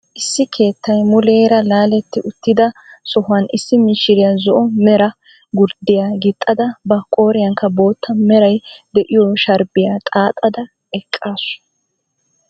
Issi keettay muleera laaletti uttida sohuwaan issi mishiriyaa zo"o mera gurddiyaa giixxada ba qooriyaankka bootta meray de'iyo sharbbiyaa xaaxada eqqaasu.